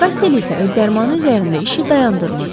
Kostel isə öz dərmanı üzərində işi dayandırmırdı.